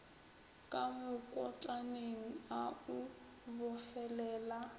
ka mokotlaneng a o bofelela